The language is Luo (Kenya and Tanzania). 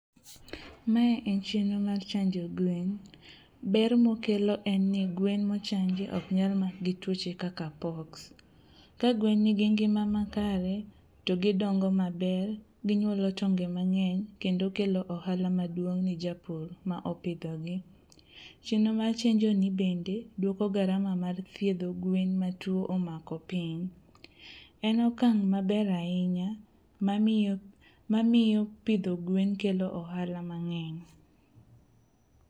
Mae en chenro mar chanjo gwen, ber mokelo en ni gwen mochanji oknyal mak gi tuoche kaka poks. Ka gwen nigi ngima makare to gidongo maber, ginyuolo tonge mang'eny kendo kelo ohala maduong' ne japur ma opidhogi. Chenro mar chenjoni bende duoko garama mar thiedho gwen ma tuo omako piny. En okang' maber ahinya mamiyo pidho gwen kelo ohala mang'eny.